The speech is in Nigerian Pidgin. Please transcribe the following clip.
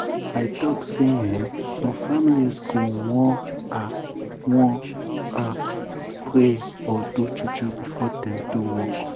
i talk say eeh some families go wan ah wan ah pray or do juju before dem do work.